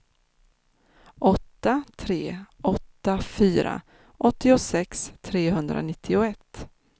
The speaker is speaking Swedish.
åtta tre åtta fyra åttiosex trehundranittioett